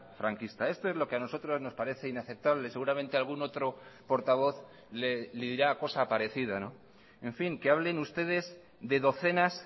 franquista esto es lo que a nosotros nos parece inaceptable seguramente algún otro portavoz le dirá cosa parecida en fin que hablen ustedes de docenas